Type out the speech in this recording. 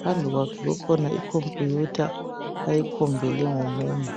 phambi kwakhe kukhona ikhompuyutha uyikhombele ngomunwe.